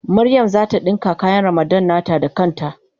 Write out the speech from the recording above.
Mariam zata dinka kayan Ramadan nata da kan ta.